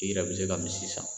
I yɛrɛ bi se ka misi san.